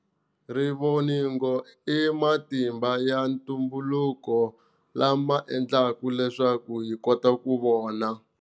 Rivoningo i matimba ya ntumbuluko lama endlaka leswaku hikota ku vona.